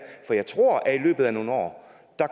for jeg tror at i løbet af nogle år